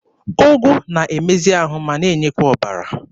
Ụgụ na-emezi ahụ ma n'enyekwa ọbara.